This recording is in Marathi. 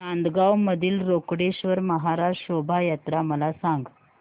नांदगाव मधील रोकडेश्वर महाराज शोभा यात्रा मला सांग